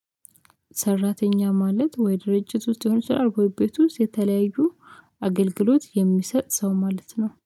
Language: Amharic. ሰራተኛ ማለት ወይ? ድርጅት ውስጥ ሊሆን ይችላል ወይ ቤት ውስጥ የተለያዩ አገልግሎት የሚሰጥ ሰው ማለት ነው